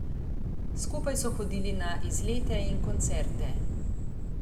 Skupaj so hodili na izlete in koncerte.